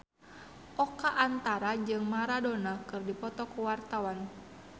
Oka Antara jeung Maradona keur dipoto ku wartawan